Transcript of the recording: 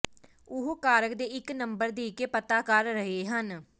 ਉਹ ਕਾਰਕ ਦੇ ਇੱਕ ਨੰਬਰ ਦੇ ਕੇ ਪਤਾ ਕਰ ਰਹੇ ਹਨ